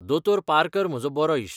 दो. Parker म्हजो बरो इश्ट.